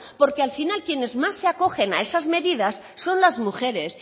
porque al final quienes más se acogen a esas medidas son las mujeres